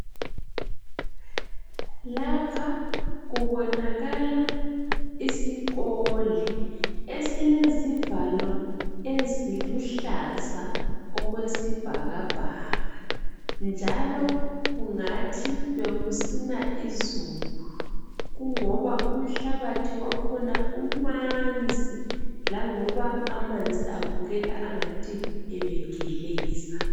Lapha kubonakala isikole, esilezivalo eziluhlaza okwesibhakabhaka. Njalo kungathi bekusina izulu. Kungoba umhlabathi wakhona umanzi. Langoba amanzi abukeka angathi ebegeleza.